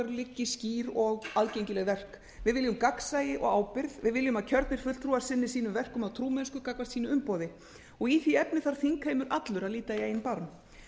liggi skýr og aðgengileg verk við viljum gagnsæi og ábyrgð við viljum að kjörnir fulltrúar sinni sínum verkum af trúmennsku gagnvart sínu umboði í því efni þarf þingheimur allur að líta í eigin barm